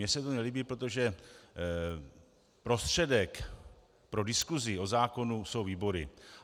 Mně se to nelíbí, protože prostředek pro diskusi o zákonu jsou výbory.